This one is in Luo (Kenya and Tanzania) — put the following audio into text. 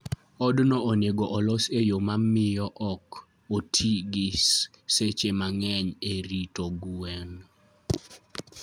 Odno onego olos e yo mamiyo ok oti gi seche mang'eny e rito gwen.